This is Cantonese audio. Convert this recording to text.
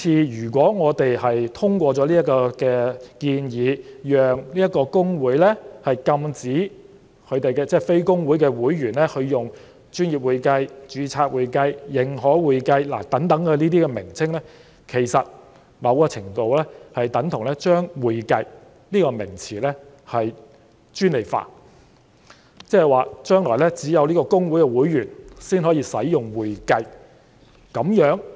如果我們通過這項法案，讓公會禁止非公會會員使用"專業會計"、"註冊會計"、"認可會計"等稱謂，其實在某程度上等同將"會計"這個名詞專利化，即是說將來只有公會會員才可以使用"會計"這個名詞，這樣是否公平呢？